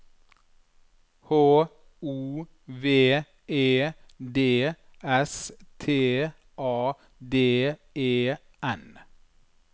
H O V E D S T A D E N